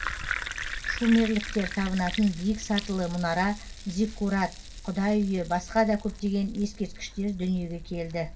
шумерліктер табынатын биік сатылы мұнара зиккурат құдай үйі басқа да көптеген ескерткіштер дүниеге келді